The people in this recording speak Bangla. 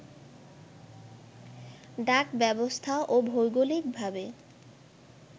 ডাক ব্যবস্থা ও ভৌগোলিক ভাবে